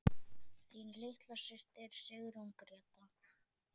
Þín litla systir, Sigrún Gréta.